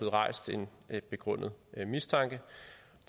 rejst en begrundet mistanke